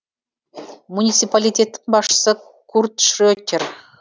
муниципалитеттің басшысы курт шретер